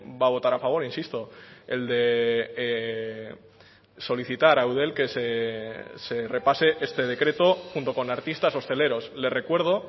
va a votar a favor insisto el de solicitar a eudel que se repase este decreto junto con artistas hosteleros le recuerdo